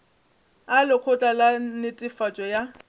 a lekgotla la netefatšo ya